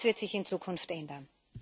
Das wird sich in Zukunft ändern.